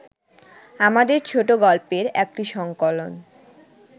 আমাদের ছোটগল্পের একটি সংকলন